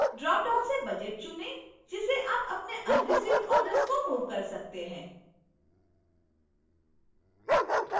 dropdown से budget चुनें जिससे आप अपने unreceived orders को move कर सकते हैं